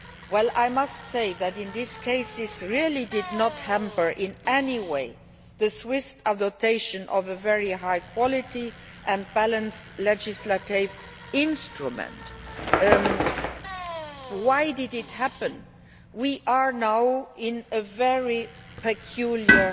Well I must say that in this case this really did not hamper in any way the swift adoption of a very high quality and balanced legislative instrument. Why did it happen? We are now in a very peculiar